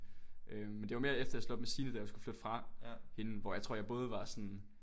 Øh men det var mere efter jeg havde slået op med Signe da jeg skulle flytte fra hende hvor jeg tror jeg både var sådan